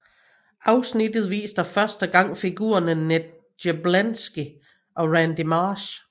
Afsnittet viser første gang figurerne Ned Gerblansky og Randy Marsh